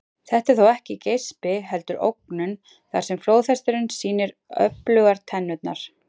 Þetta er þó ekki geispi heldur ógnun þar sem flóðhesturinn sýnir öflugar tennurnar.